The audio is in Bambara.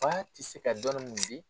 Fa tɛ se ka dɔni mun di